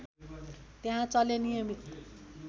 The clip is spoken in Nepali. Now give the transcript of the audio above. त्यहाँ चल्ने नियमित